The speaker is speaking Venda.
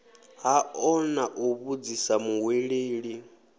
hao na u vhudzisa muhweleli